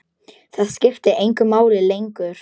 Það skipti engu máli lengur.